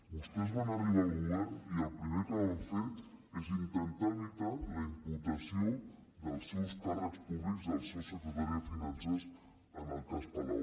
vostès van arribar al govern i el primer que van fer és intentar evitar la imputació dels seus càrrecs públics del seu secretari de finances en el cas palau